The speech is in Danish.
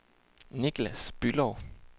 Nicklas Bülow